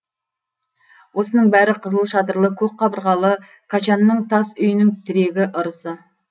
осының бәрі қызыл шатырлы көк қабырғалы качанның тас үйінің тірегі ырысы